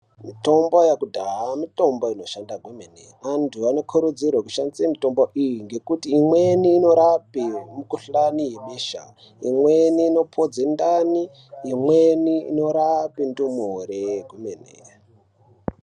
Mitombo yekudhaya mitombo inoshanda kwemene .Vantu vanokurudzirwa kushandiswa mitombo iyi ngekuti imweni inorape mikhuhlane yebesha imweni inopodze ndani ,imweni inorape ndumure kwemene.